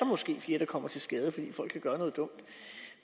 måske flere der kommer til skade fordi folk kan gøre noget dumt